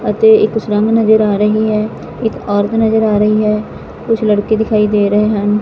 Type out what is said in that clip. ਅਤੇ ਇੱਕ ਸੁਰੰਗ ਨਜ਼ਰ ਆ ਰਹੀ ਹੈ ਇੱਕ ਔਰਤ ਨਜ਼ਰ ਆ ਰਹੀ ਹੈ ਕੁਛ ਲੜਕੇ ਦਿਖਾਈ ਦੇ ਰਹੇ ਹਨ।